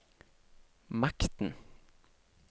makten